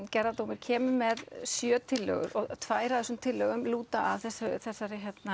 gerðardómur kemur með sjö tillögur og tvær af þessum tillögum lúta að þessu